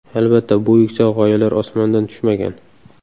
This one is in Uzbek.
Albatta, bu yuksak g‘oyalar osmondan tushmagan.